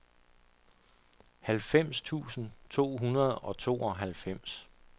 halvfems tusind to hundrede og tooghalvfems